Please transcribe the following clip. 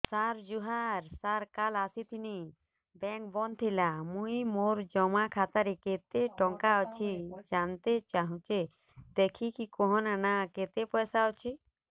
ସାର ଜୁହାର ସାର କାଲ ଆସିଥିନି ବେଙ୍କ ବନ୍ଦ ଥିଲା ମୁଇଁ ମୋର ଜମା ଖାତାରେ କେତେ ଟଙ୍କା ଅଛି ଜାଣତେ ଚାହୁଁଛେ ଦେଖିକି କହୁନ ନା କେତ ପଇସା ଅଛି